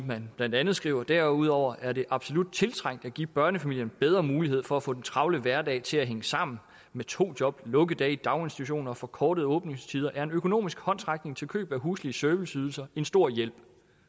man blandt andet skrev derudover er det absolut tiltrængt at give børnefamilierne bedre muligheder for at få den travle hverdag til at hænge sammen med to job lukkedage i daginstitutionerne og forkortede åbningstider er en økonomisk håndsrækning til køb af huslige serviceydelser en stor hjælp